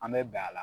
An bɛ bɛn a la